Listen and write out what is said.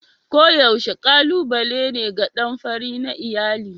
Koyaushe kalubale ne ga ɗan fari na iyali.